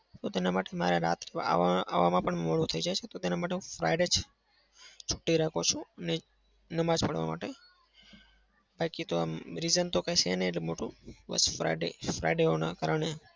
તો તેના માટે આવા આવામાં પણ મોડું થઇ જાય છે તો તેના માટે Friday જ છૂટી રાખું છું. નમાજ પઢવા માટે બાકી તો આમ reason તો કઈ છે નહિ એટલું મોટું. બસ Friday Friday હોવાના કારણે.